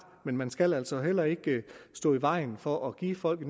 men man skal altså heller ikke stå i vejen for at give folk